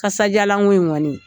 Kasajalan ko in kɔni